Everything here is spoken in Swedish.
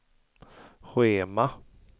schema